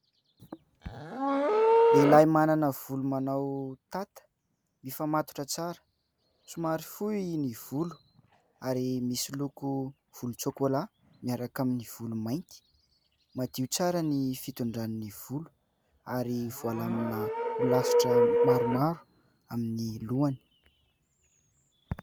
Lehilahy manana volo manao tata, mifamatotra tsara, somary fohy ny volo ary misy loko volontsokola miaraka amin'ny volo mainty. Madio tsara ny fitondrany ny volo ary voalamina ho lasitra maromaro amin'ny lohany.